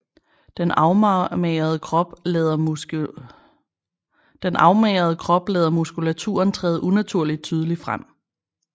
Den afmagrede krop lader muskulaturen træde unaturligt tydeligt frem